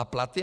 A platy?